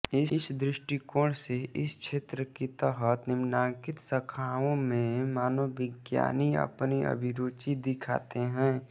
इस दृष्टिकोण से इस क्षेत्र के तहत निम्नांकित शाखाओं में मनोविज्ञानी अपनी अभिरुचि दिखाते हैं